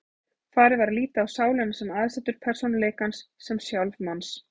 Farið var að líta á sálina sem aðsetur persónuleikans, sem sjálf manns.